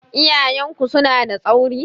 Iyayen ku suna da tsauri?